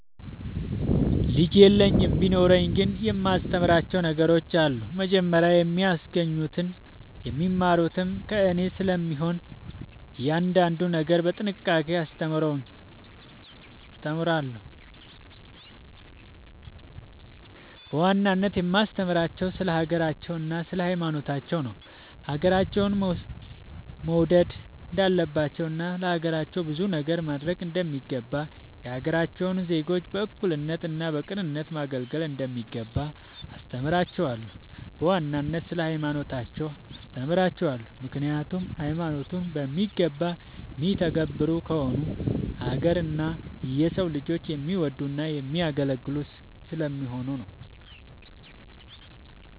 ልጅ የለኝም ቢኖረኝ ግን የማስተምራቸው ነገሮች አሉ። መጀመሪያ የሚያገኙትም የሚማሩትም ከኔ ስለሚሆን እያንዳንዱን ነገር በጥንቃቄ አስተምራቸዋለሁ። በዋናነት የማስተምራቸው ስለ ሀገራቸው እና ስለ ሀይማኖታቸውን ነው። ሀገራቸውን መውድ እንዳለባቸው እና ለሀገራቸው ብዙ ነገር ማረግ እንደሚገባ፤ የሀገራቸውን ዜጎች በእኩልነት እና በቅንነት ማገልገል እንደሚገባ አስተምራቸዋለሁ። በዋናነት ስለ ሀይማኖታቸው አስተምራቸዋለሁ ምክኒያቱም ሀይማኖቱን በሚገባ የሚተገብሩ ከሆኑ ሀገር እና የሰው ልጆችን የሚወዱ እና የሚያገለግሉ ስለሚሆኑ።